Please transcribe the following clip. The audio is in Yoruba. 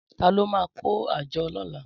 Tàló mà kó ájò lòlá?